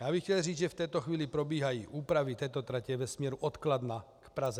Já bych chtěl říci, že v této chvíli probíhají úpravy této trati ve směru od Kladna k Praze.